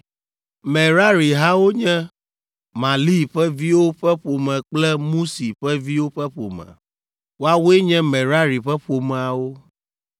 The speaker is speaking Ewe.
Merari hawo nye: Mahli ƒe viwo ƒe ƒome kple Musi ƒe viwo ƒe ƒome. Woawoe nye Merari ƒe ƒomeawo.